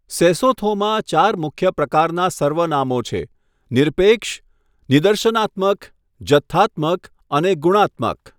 સેસોથોમાં ચાર મુખ્ય પ્રકારના સર્વનામો છે, નિરપેક્ષ, નિદર્શનાત્મક, જથ્થાત્મક અને ગુણાત્મક.